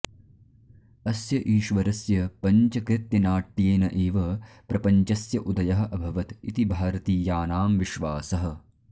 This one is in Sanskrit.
अस्य ईश्वरस्य पञ्चकृत्यनाट्येन एव प्रपञ्चस्य उदयः अभवत् इति भारतीयानां विश्वासः